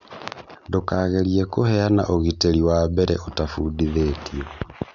ndũkagerie kũheana ũrigiti wa mbere ũtafundithĩtio.